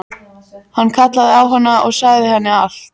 Hann kallaði á hana og sagði henni allt.